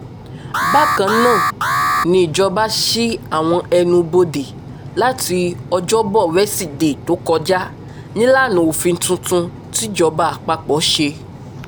bákan náà nìjọba sí àwọn ẹnu ibodè láti ọjọ́bọ wesidee tó kọjá nílànà òfin tuntun tìjọba àpapọ̀ ṣe